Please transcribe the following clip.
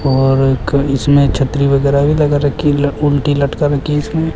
और एक इसमें छतरी वगैरह भी लगा रखी है ल उल्टी लटका रखी इसमें।